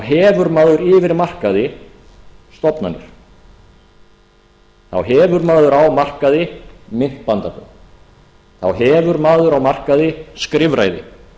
hefur maður yfir markaði stofnanir þá hefur maður á markaði myntbandalög þá hefur maður á markaði skrifræði